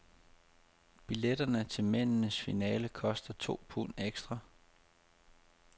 Billetterne til mændenes finale koster to pund ekstra.